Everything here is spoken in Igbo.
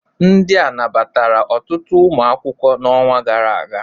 Ndị nabatara ọtụtụ ụmụ akwụkwọ n'ọnwa gara aga?